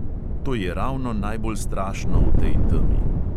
To je ravno najbolj strašno v tej temi.